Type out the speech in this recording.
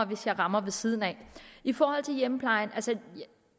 hvis jeg rammer ved siden af i forhold til hjemmeplejen